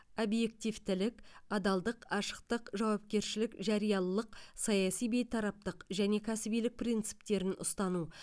объективтілік адалдық ашықтық жауапкершілік жариялылық саяси бейтараптық және кәсібилік принциптерін ұстану